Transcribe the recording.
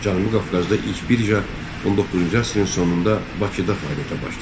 Cənubi Qafqazda ilk birja 19-cu əsrin sonunda Bakıda fəaliyyətə başladı.